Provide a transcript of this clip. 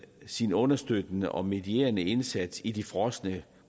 sin understøttende og medierende indsats i de frosne